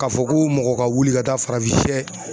K'a fɔ ko mɔgɔ ka wili ka taa farafin sɛ